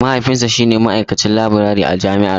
Mahaifinsa shi ne ma'aikacin laburare a jami'ar mu.